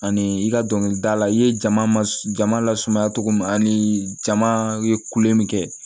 Ani i ka dɔnkilidala i ye jama lasumaya cogo min ani jama ye kule min kɛ